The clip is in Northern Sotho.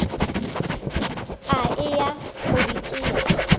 a eya go di tšea